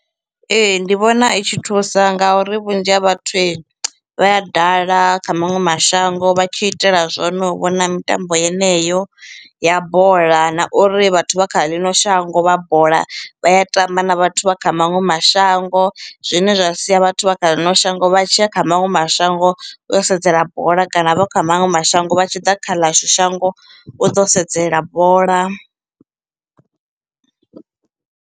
Ee, ndi vhona i tshi thusa ngauri vhunzhi ha vhathu vha ya dala kha maṅwe mashango vha tshi itela zwone vhona mitambo yeneyo ya bola na uri vhathu vha kha ḽino shango vha bola vha ya tamba na vhathu vha kha maṅwe mashango zwine zwa sia vhathu vha kha ḽino shango vha tshi ya kha maṅwe mashango u yo sedzela bola kana vha kha maṅwe mashango vha tshi ḓa kha ḽashu shango u ḓo sedzela bola.